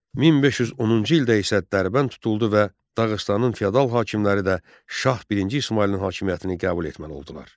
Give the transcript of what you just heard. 1510-cu ildə isə Dərbənd tutuldu və Dağıstanın feodal hakimləri də Şah birinci İsmayılın hakimiyyətini qəbul etməli oldular.